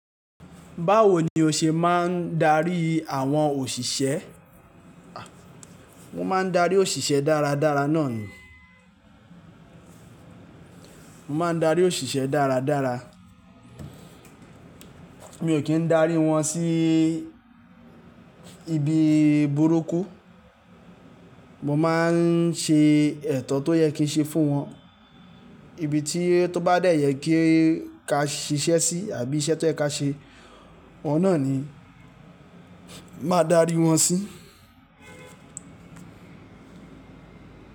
Báwo ni o ṣe máa ń darí àwọn òṣìṣẹ́? Mo máa ń darí òṣìṣẹ́ dáradára náà ni. Mo máa ń darí òṣìṣẹ́ dáradára. Mi ò kí ń darí wọn sí ibi burúkú. Mo máa ń ṣe ẹ̀tọ́ tó yẹ kí n ṣe fún wọn. Ibi tí tó bá dẹ́yẹ kí ka ṣiṣẹ́ sí àbí iṣẹ́ tó ẹ ka ṣe, ọ̀hun ni mo máa darí wọn sí.